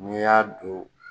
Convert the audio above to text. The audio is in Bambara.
N'i y'a don